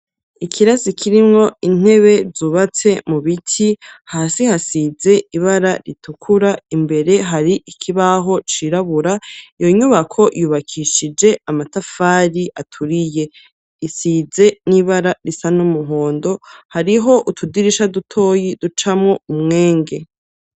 Ikirasi kirimwo intebe zubatse mu biti, hasi hasize ibara ritukura, imbere hari ikibaho cirabura, iyo nyubako yubakishije amatafari aturiye. Risize n'ibara risa n'umuhondo, hariho utudirisha dutoyi ducamo umwenge.